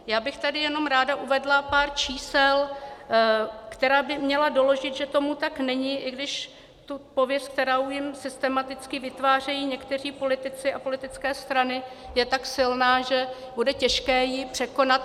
Já bych tady jenom ráda uvedla pár čísel, která by měla doložit, že tomu tak není, i když ta pověst, kterou jim systematicky vytvářejí někteří politici a politické strany, je tak silná, že bude těžké ji překonat.